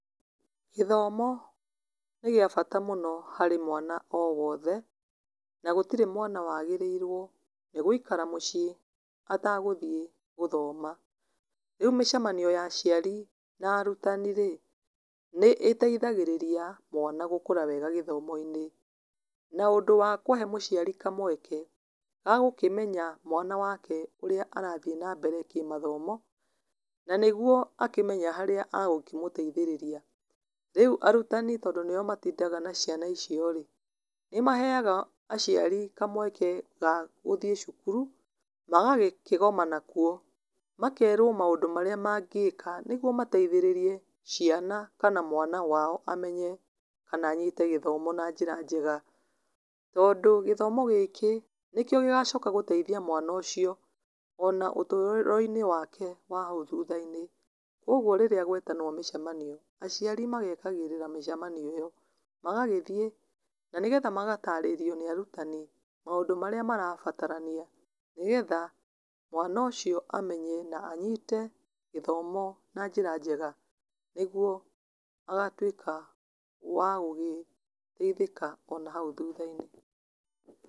Gĩthomo nĩ gĩa bata mũno harĩ mwana o wothe, na gũtirĩ mwana wagĩrĩirwo nĩ gũikara mũciĩ atagũthiĩ gũthoma. Rĩu mĩcemanio ya aciari na arutani rĩ, nĩ ĩteithagĩrĩria mwana gũkũra wega gĩthomo-inĩ. Na ũndũ wa kũhe mũciari kamweke, ga gũkĩmenya mwana wake ũrĩa arathiĩ na mbere kĩmathomo, na nĩguo akĩmenye harĩa agũkĩmũteithĩrĩria. Rĩu arutani tondũ nĩo matindaga na ciana icio rĩ, nĩ maheaga aciari kamweke ga gũthiĩ cukuru, magakĩgomana kuo, makerwo maũndũ marĩa mangĩka nĩguo mateithĩrĩrie ciana kana mwana wao amenye kana anyite gĩthomo na njĩra njega. Tondũ gĩthomo gĩkĩ, nĩkĩo gĩgacoka gũteithia mwana ũcio, ona ũtũũro-inĩ wake wa hau thutha-inĩ. Kũguo rĩrĩa gwetanwo mĩcemanio, aciari magetagĩrĩra mĩcemanio ĩyo, magagĩthiĩ, na nĩgetha magatarĩrio nĩ arutani maũndũ marĩa marabatarania. Nĩgetha mwana ũcio amenye na anyite gĩthomo na njĩra njega nĩguo agatuĩka wa gũgĩteithĩka ona hau thutha-inĩ.